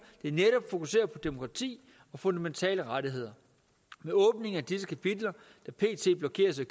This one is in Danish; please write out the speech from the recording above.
der netop fokuserer på demokrati og fundamentale rettigheder med åbningen af disse kapitler der pt blokeres af